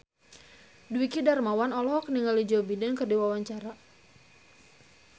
Dwiki Darmawan olohok ningali Joe Biden keur diwawancara